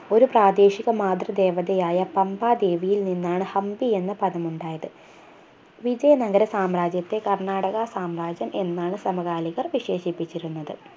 ഒരു പ്രാദേശിക മാതൃ ദേവതയായ പമ്പാ ദേവിയിൽ നിന്നാണ് ഹംപി എന്ന പദം ഉണ്ടായത് വിജയ നഗര സാമ്രാജ്യത്തെ കർണ്ണാടക സാമ്രാജ്യം എന്നാണ് സമകാലികർ വിശേഷിപ്പിച്ചിരുന്നത്